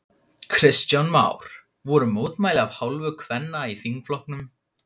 Kristján Már: Voru mótmæli af hálfu kvenna í þingflokknum?